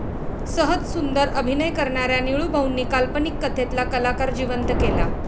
सहज सुंदर अभिनय करणाऱ्या निळूभाऊनीं काल्पनिक कथेतला कलाकार जिवंत केला.